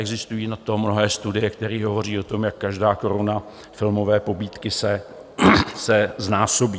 Existují na to mnohé studie, které hovoří o tom, jak každá koruna filmové pobídky se znásobí.